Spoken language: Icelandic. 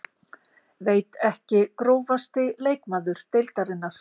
veit ekki Grófasti leikmaður deildarinnar?